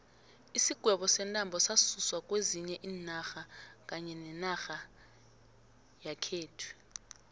isigwebo sentambo sasuswa kwezinye iinarha kanye nenarheni yakhethu